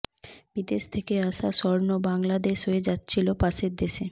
বিদেশ থেকে আসা স্বর্ণ বাংলাদেশ হয়ে যাচ্ছিল পাশের দেশে